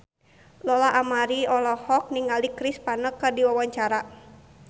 Lola Amaria olohok ningali Chris Pane keur diwawancara